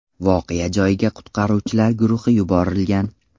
Voqea joyiga qutqaruvchilar guruhi yuborilgan.